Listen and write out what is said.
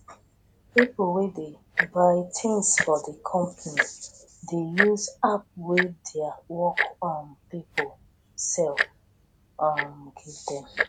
people wey dey buy tins for di company dey use app wey their work um pipo sell um give dem